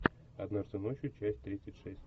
однажды ночью часть тридцать шесть